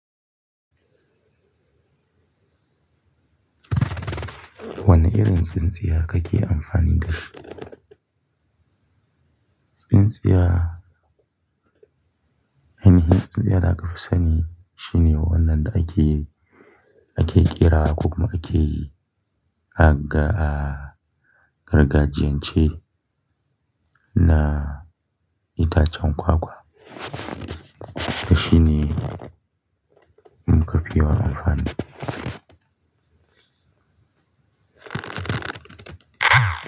Wane irin tsintsiya kake amfani da shi? Tsintsiya, aini hin tsintsiyar aka fi sani shine wannan da ake, ake ƙera ko kuma ake yi a gargajiyan ce na itacen kwakwa. Dashi ne muka fi yawan amfani.